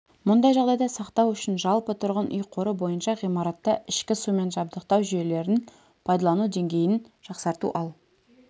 мұндай жағдайда сақтау үшін жалпы тұрғын үй қоры бойынша ғимаратта ішкі сумен жабдықтау жүйелерін пайдалану деңгейін жақсарту ал